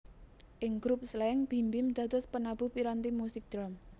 Ing grup Slank Bim Bim dados penabuh piranti musik drum